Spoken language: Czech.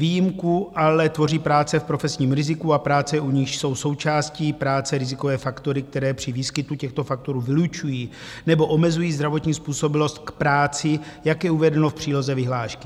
Výjimku ale tvoří práce v profesním riziku a práce, u níž jsou součástí práce rizikové faktory, které při výskytu těchto faktorů vylučují nebo omezují zdravotní způsobilost k práci, jak je uvedeno v příloze vyhlášky.